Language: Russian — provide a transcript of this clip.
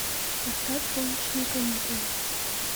поставь солнечные каникулы